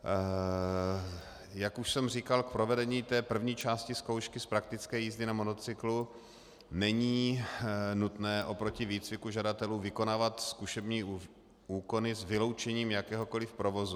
Jak už jsem říkal, k provedení té první části zkoušky z praktické jízdy na motocyklu není nutné oproti výcviku žadatelů vykonávat zkušební úkony s vyloučením jakéhokoli provozu.